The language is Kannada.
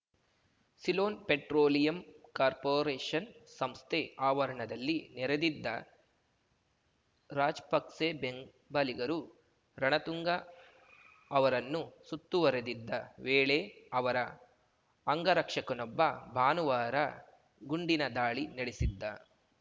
ಸಿಲೋನ್‌ ಪೆಟ್ರೋಲಿಯಂ ಕಾರ್ಪೋರೇಷನ್‌ ಸಂಸ್ಥೆ ಆವರಣದಲ್ಲಿ ನೆರೆದಿದ್ದ ರಾಜಪಕ್ಸೆ ಬೆಂಬಲಿಗರು ರಣತುಂಗ ಅವರನ್ನು ಸುತ್ತುವರಿದಿದ್ದ ವೇಳೆ ಅವರ ಅಂಗರಕ್ಷಕನೊಬ್ಬ ಭಾನುವಾರ ಗುಂಡಿನ ದಾಳಿ ನಡೆಸಿದ್ದ